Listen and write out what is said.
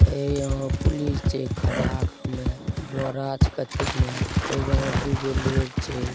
ए यहां पुलिस छै खड़ा अगा में बोरा छै कथि के ने ए वहां दूगो लोग छै।